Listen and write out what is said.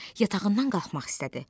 Yatağından qalxmaq istədi.